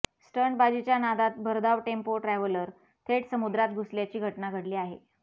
स्टंटबाजीच्या नादात भरधाव tempo traveller थेट समुद्रात घुसल्याची घटना घडली आहे